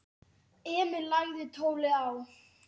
Emil lagði tólið á.